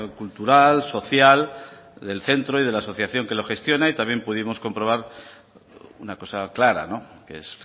cultural social del centro y de la asociación que lo gestiona y también pudimos comprobar una cosa clara que es